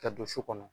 Ka don so kɔnɔ